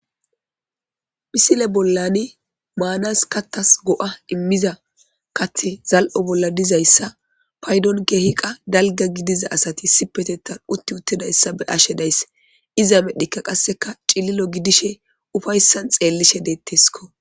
Misile bollani maanas katas go'a immiza kathe zal'o bolla dizayssa paydon keehiqa dalga gidiza asati sipetetan utti uttedayssa be ashe daysse iza medheka qasseka cililo gidishe ufayssan xeellishe deettesko.